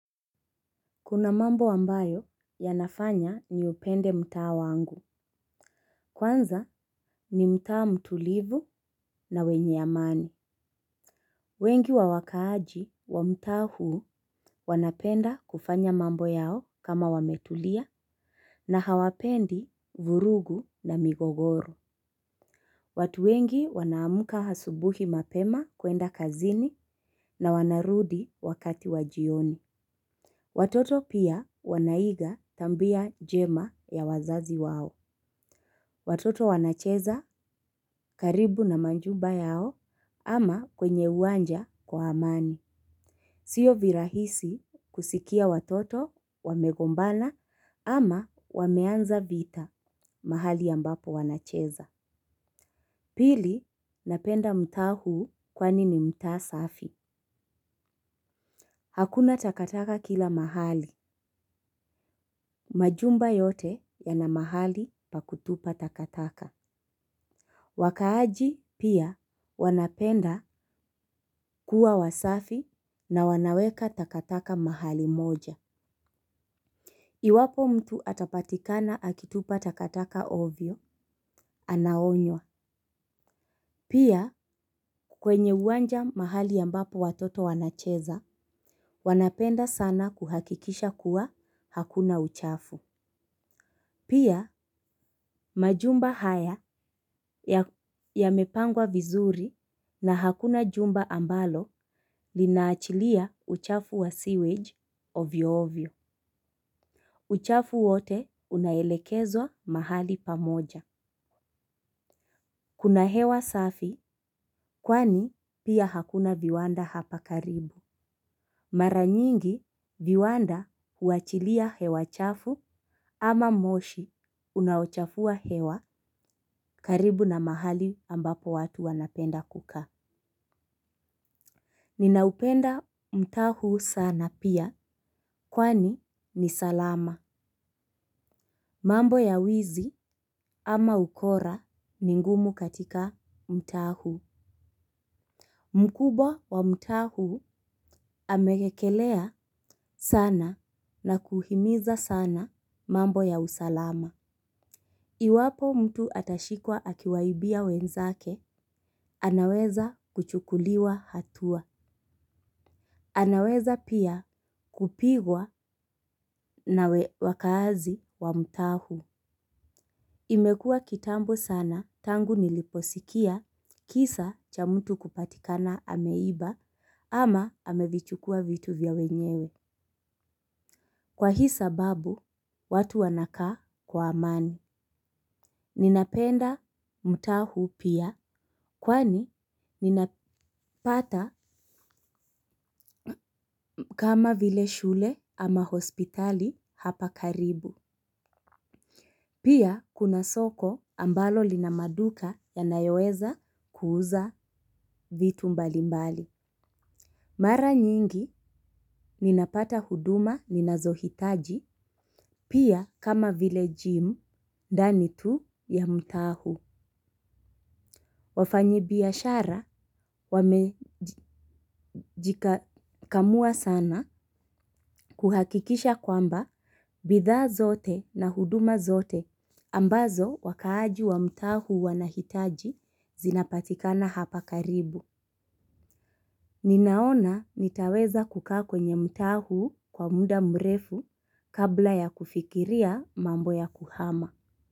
Kuna mambo ambayo yanafanya ni upende mtaa wangu. Kwanza ni mtaa mtulivu na wenye amani. Wengi wa wakaaji wa mtaa huu wanapenda kufanya mambo yao kama wametulia na hawapendi vurugu na migogoro. Watu wengi wanaamka asubuhi mapema kuenda kazini na wanarudi wakati wa jioni. Watoto pia wanaiga tabia njema ya wazazi wao. Watoto wanacheza karibu na majumba yao ama kwenye uwanja kwa amani. Sio virahisi kusikia watoto wamegombana ama wameanza vita mahali ambapo wanacheza. Pili napenda mtaa hu kwani ni mtaa safi. Hakuna takataka kila mahali. Majumba yote yanamahali pa kutupa takataka. Wakaaji pia wanapenda kuwa wasafi na wanaweka takataka mahali moja. Iwapo mtu atapatikana akitupa takataka ovyo, anaonywa. Pia kwenye uwanja mahali ambapo watoto wanacheza, wanapenda sana kuhakikisha kuwa hakuna uchafu. Pia majumba haya yamepangwa vizuri na hakuna jumba ambalo linaachilia uchafu wa seawage ovyo ovyo. Uchafu wote unaelekezwa mahali pamoja. Kuna hewa safi kwani pia hakuna viwanda hapa karibu. Mara nyingi viwanda huachilia hewa chafu ama moshi unaochafua hewa karibu na mahali ambapo watu wanapenda kukaa. Ninaupenda mtaa huu sana pia kwani ni salama. Mambo ya wizi ama ukora ni ngumu katika mtaa huu. Mkubwa wa mtaa huu amegekelea sana na kuhimiza sana mambo ya usalama. Iwapo mtu atashikwa akiwaibia wenzake anaweza kuchukuliwa hatua. Anaweza pia kupigwa nawe waakazi wa mtaa huu. Imekuwa kitambo sana tangu niliposikia kisa cha mtu kupatikana ameiba ama amevichukuwa vitu vya wenyewe. Kwa hii sababu, watu wanakaa kwa amani. Ninapenda mtaa huu pia kwani ninapata kama vile shule ama hospitali hapa karibu. Pia kuna soko ambalo linamaduka yanayoweza kuuza vitu mbalimbali. Mara nyingi ninapata huduma ninazohitaji pia kama vile gym ndani tu ya mtaa huu. Wafanyi biashara wamejikakamua sana kuhakikisha kwamba bithaa zote na huduma zote ambazo wakaaji wa mtaa huu wanahitaji zinapatikana hapa karibu. Ninaona nitaweza kukaa kwenye mtaa huu kwa muda mrefu kabla ya kufikiria mambo ya kuhama.